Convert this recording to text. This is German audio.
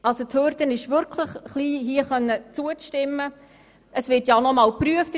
Die Hürde, hier zustimmen zu können, ist wirklich niedrig angesetzt, und es wird ja noch einmal geprüft.